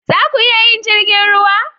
Za ku iya yin jirgin ruwa?